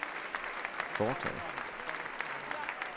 foretaget